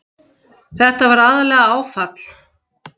Þetta var aðallega áfall.